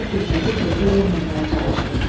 Kişi fürsəti fövtə verməməyə çalışdı.